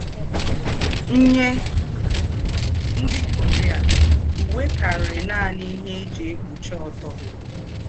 Nyé ndí́ Korea, úwé kárìí nání íhé è jí èkpúchí ọ́tọ́.